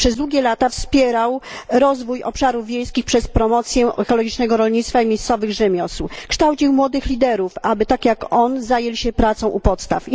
Przez długie lata wspierał rozwój obszarów wiejskich przez promocję ekologicznego rolnictwa i miejscowych rzemiosł, kształcił młodych liderów, aby tak jak on zajęli się pracą u podstaw.